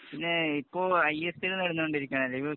പിന്നെ ഇപ്പൊ I S P L‍ നടന്നു കൊണ്ടിരിക്കുകയാണല്ലോ